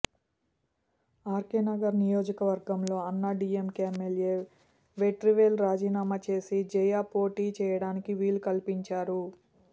RK Nagar నియోజకవర్గంలో Anna DMK MLA Vetrivel రాజీనామా చేసి జయ పోటీ చేయటానికి వీలు కల్పించారు